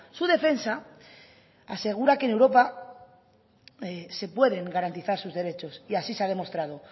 su defensa asegura que en europa se pueden garantizar sus derechos y así se ha demostrado